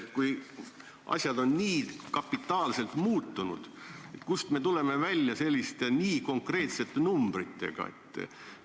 Kui asjad on nii kapitaalselt muutunud, miks me tuleme välja nii konkreetsete numbritega?